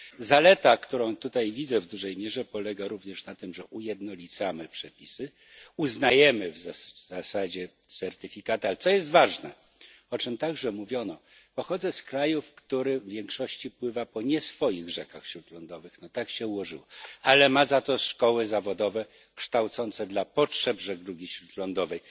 Zaleta, którą tutaj widzę, w dużej mierze polega również na tym, że ujednolicamy przepisy, uznajemy w zasadzie certyfikaty, ale co jest ważne o czym także mówiono pochodzę z kraju, który w większości pływa po nie swoich rzekach śródlądowych no tak się ułożyło ale ma za to szkoły zawodowe kształcące dla potrzeb żeglugi śródlądowej.